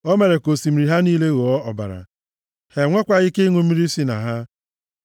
O mere ka osimiri ha niile ghọọ ọbara. Ha enwekwaghị ike ịṅụ mmiri si na ha.